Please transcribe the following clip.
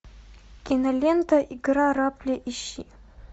кинолента игра рапли ищи